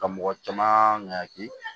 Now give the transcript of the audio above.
Ka mɔgɔ caman ɲagami